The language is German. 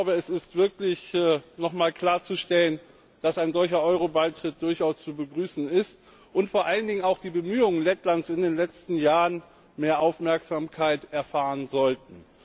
Es ist wirklich nochmals klarzustellen, dass ein solcher Euro Beitritt durchaus zu begrüßen ist und vor allen Dingen auch die Bemühungen Lettlands in den letzten Jahren mehr Aufmerksamkeit erfahren sollten.